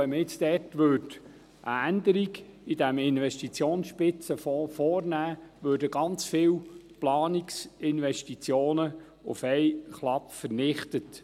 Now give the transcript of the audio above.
Wenn man jetzt eine Änderung in diesem Investitionsspitzenfonds vornehmen würde, würden ganz viele Planungsinvestitionen auf einen Schlag vernichtet.